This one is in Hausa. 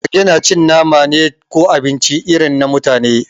Mage na cin nama ne ko abinci irin na mutane